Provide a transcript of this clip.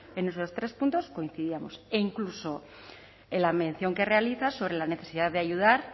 en esos tres puntos coincidíamos e incluso en la mención que realiza sobre la necesidad de ayudar